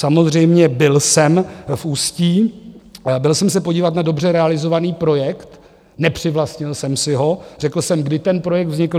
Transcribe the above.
Samozřejmě byl jsem v Ústí, byl jsem se podívat na dobře realizovaný projekt, nepřivlastnil jsem si ho, řekl jsem, kdy ten projekt vznikl.